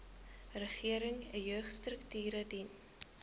regering jeugstrukture dien